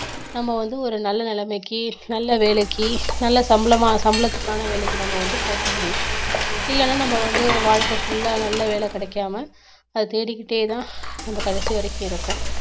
நம்ம வந்து ஒரு நல்ல நிலைமைக்கு நல்ல வேலைக்கு நல்ல சம்பளமா சம்பளத்துக்கான வேலைக்கு நம்ம வந்து போக முடியும் இல்லைன்னா நம்ம வந்து வாழ்க்கை full ஆ நல்ல வேலை கிடைக்காம அத தேடிக்கிட்டேதான் நம்ம கடைசி வரைக்கும் இருப்போம்